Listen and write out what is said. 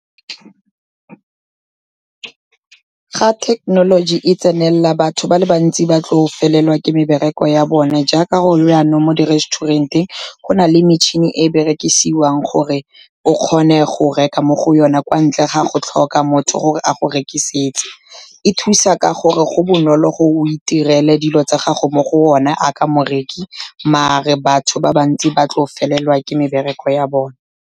Ga thekenology e tsenelela, batho ba le bantsi ba tlo felelwa ke mebereko ya bone, jaaka gone janong mo di-resturent-eng go na le metšhini e e berekisiwang gore o kgone go reka mo go yone, kwa ntle ga go tlhoka motho gore a go rekisetse. E thusa ka gore go bonolo gore o itirele dilo tsa gago mo go one jaaka morekisi, mare batho ba bantsi ba tlo felelwa ke mebereko ya bone.